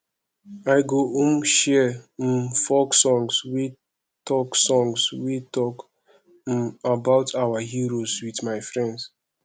i go um share um folk songs wey talk songs wey talk um about our heroes with my friends